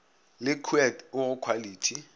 le khuet o go khwalithi